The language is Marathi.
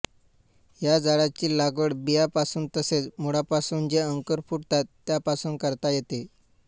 या झाडांची लागवड बियांपासून तसेच मुळापासून जे अंकुर फुटतात त्यापासून करता येते